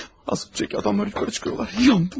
Az öncəki adamlar yuxarı çıxıyorlar, yandım!